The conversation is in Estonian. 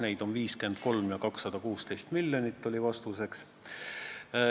Neid on 53 ja 216 miljonit, oli vastuseks.